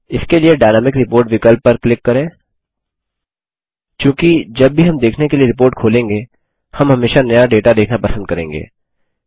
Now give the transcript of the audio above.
इसके लिए dynamic report विकल्प पर क्लिक करें चूँकि जब भी हम देखने के लिए रिपोर्ट खोलेंगे हम हमेशा नया डेटा देखना पसंद करेंगे